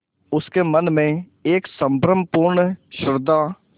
उसके मन में एक संभ्रमपूर्ण श्रद्धा